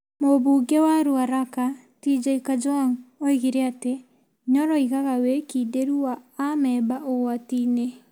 Mũmbunge wa Rũaraka TJ Kajwang oigire atĩ Nyoro aigaga wĩkindĩrũ wa amemba ũgwatinĩ.